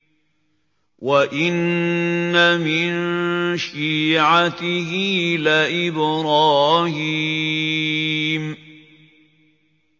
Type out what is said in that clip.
۞ وَإِنَّ مِن شِيعَتِهِ لَإِبْرَاهِيمَ